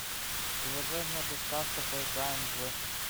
приложение доставка поиграем в